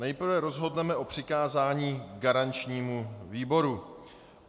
Nejprve rozhodneme o přikázání garančnímu výboru.